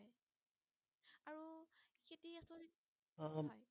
হয়